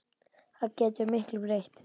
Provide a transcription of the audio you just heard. Það getur miklu breytt.